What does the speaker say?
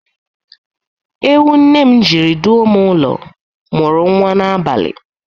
Ewu nne m jiri duo m ụlọ mụrụ nwa n'abalị